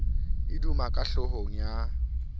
e duma ka hlohong ya